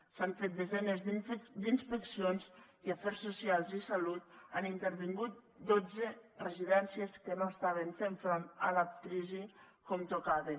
s’han fet desenes d’inspeccions i afers socials i salut han intervingut dotze residències que no estaven fent front a la crisi com tocava